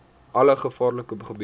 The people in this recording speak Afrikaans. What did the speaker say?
alle gevaarlike gebiede